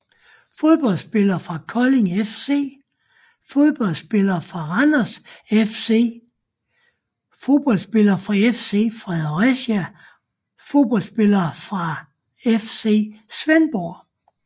Fodboldspillere fra Kolding FC Fodboldspillere fra Randers FC Fodboldspillere fra FC Fredericia Fodboldspillere fra FC Svendborg